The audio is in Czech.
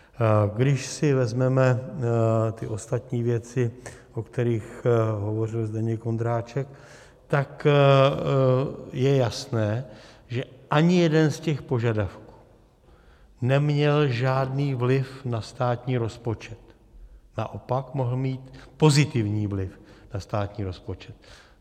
Když si vezmeme ty ostatní věci, o kterých hovořil Zdeněk Ondráček, tak je jasné, že ani jeden z těch požadavků neměl žádný vliv na státní rozpočet, naopak mohl mít pozitivní vliv na státní rozpočet.